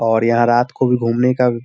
और यहाँ रात को भी घूमने का भी --